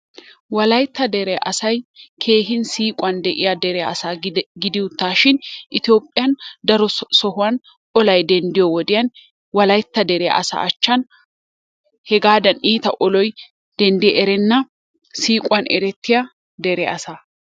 Wolayttaa deree asay kehi siquwan de'iyaa dere asaa gidi uttashi ethiopiyan daroo sohuwan ollay dendiyo wodiyan, wolaytta deree asaa achaani hegaadan ittaa ollay denddi erennaa, siquwan erettiyaa deree asaa.